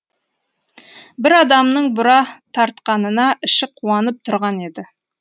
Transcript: бір адамның бұра тартқанына іші қуанып тұрған еді